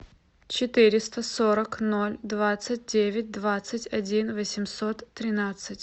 четыреста сорок ноль двадцать девять двадцать один восемьсот тринадцать